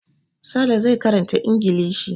Sale zai karanta Ingilishi.